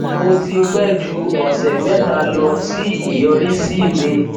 mo ti pẹ ju ọsẹ mẹta lọ sí ìyọrísí mi